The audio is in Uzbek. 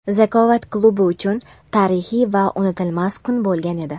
"Zakovat" klubi uchun tarixiy va unutilmas kun bo‘lgan edi.